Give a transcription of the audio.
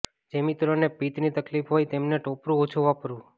જે મિત્રો ને પિત્ત ની તકલીફ હોય એમને ટોપરું ઓછું વાપરવું